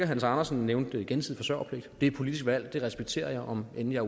hans andersen nævnte gensidig forsørgerpligt det er et politisk valg det respekterer jeg om end jeg